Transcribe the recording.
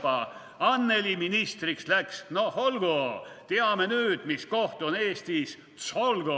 / Anneli ministriks läks, / noh olgu, teame nüüd, / mis koht on Eestis Tsolgo.